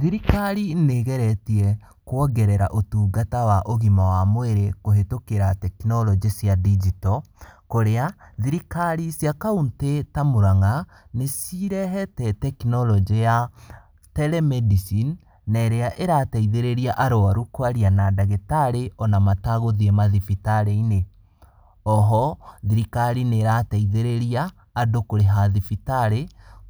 Thirikari nĩgeretie kuongerera ũtungata wa ũgima wa mwĩrĩ kũhĩtũkĩra tekinoronjĩ cia ndinjito, kũrĩa thirikari cia kaũntĩ ta Muranga, nĩcirehete tekinoronjĩ ya Telemedicine, na irĩa ĩrateithĩrĩria arwaru kwaria na ndagĩtarĩ ona matagũthiĩ mathibitarĩ-inĩ. Oho, thirikari nĩ ĩrateithĩrĩria andũ kũrĩha thibitarĩ